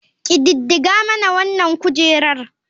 Ƙididdiga mana wanan kujerar.